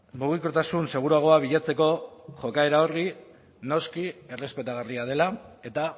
mugikortasun seguruagoa bilatzeko jokaera hori noski errespetagarria dela eta